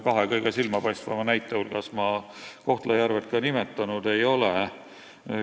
Kahe kõige silmapaistvama näite hulgas ma Kohtla-Järvet nimetanud ei ole.